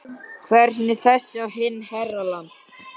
Hvernig þessi og hinn herra Land